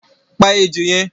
Pa ejò yẹn!